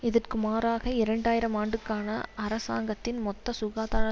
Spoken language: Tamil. இதற்கு மாறாக இரண்டு ஆயிரம் ஆண்டுக்கான அரசாங்கத்தின் மொத்த சுகாதார